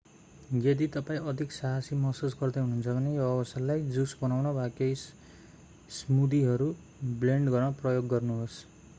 यदि तपाईं अधिक साहसी महसुस गर्दै हुनुहुन्छ भने यो अवसरलाई जुस बनाउन वा केही स्मूदीहरू ब्लेन्ड गर्न प्रयोग गर्नुहोस्